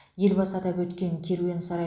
елбасы атап өткен керуен сарай